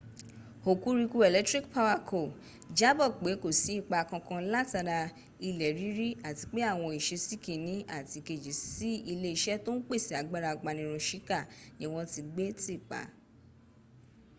hokuriku electric power co. jábọ̀ pé kò sí ipa kankan látara ilẹ̀ rírì àti pé àwọn ìsesí kìnní àti ìkejì sí ilé iṣẹ̀ tó ń pèsè agbára apanirun shika ni wọ́n ti gbé tìpa